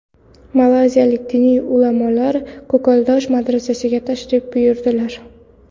Malayziyalik diniy ulamolar Ko‘kaldosh madrasasiga tashrif buyurdilar.